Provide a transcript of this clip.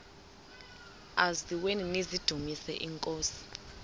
eziaweni nizidumis iinkosi